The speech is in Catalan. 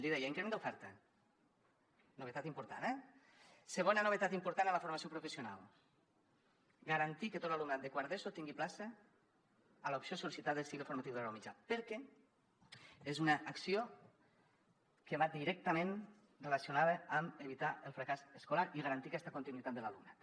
li deia increment d’oferta novetat important eh segona novetat important en la formació professional garantir que tot l’alumnat de quart d’eso tingui plaça a l’opció sol·licitada al cicle formatiu de grau mitjà perquè és una acció que va directament relacionada amb evitar el fracàs escolar i garantir aquesta continuïtat de l’alumnat